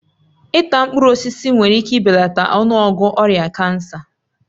Ịta mkpụrụ osisi nwere ike ibelata ọnụọgụ ọrịa kansa